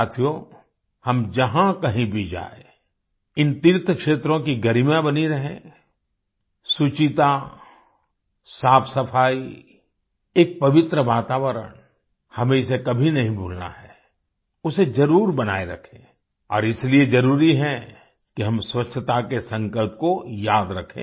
साथियो हम जहाँ कही भी जाएँ इन तीर्थ क्षेत्रों की गरिमा बनी रहे आई सुचिता साफ़सफाई एक पवित्र वातावरण हमें इसे कभी नहीं भूलना है उसे ज़रूर बनाए रखें और इसीलिए ज़रूरी है कि हम स्वच्छता के संकल्प को याद रखें